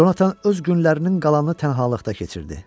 Conatan öz günlərinin qalanını tənhalıqda keçirdi.